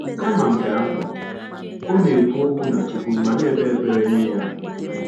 Kama nke ahụ, ọ na-ekwu okwu na Chukwu ma na-ekpe ekpere nye Ya.